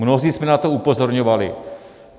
Mnozí jsme na to upozorňovali.